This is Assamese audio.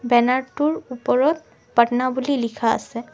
বেনাৰ টোৰ ওপৰত পাটনা বুলি লিখা আছে।